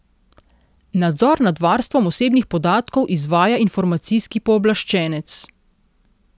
Nadzor nad varstvom osebnih podatkov izvaja informacijski pooblaščenec.